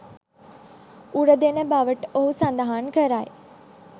උරදෙන බවට ඔහු සඳහන් කරයි